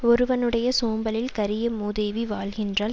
ஒருவனுடைய சோம்பலில் கரிய மூதேவி வாழ்கின்றாள்